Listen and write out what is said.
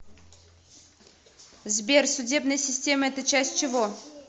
сбер судебная система это часть чего